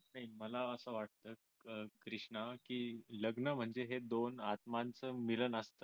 नाही मला असं वाटत कृष्णा की लग्न म्हणजे हे दोन आत्माचं मिलन असत